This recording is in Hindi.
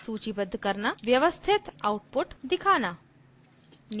व्यवस्थित output दिखाना